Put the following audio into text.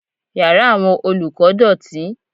Yàrá àwọn olùkọ́ dọ̀tí.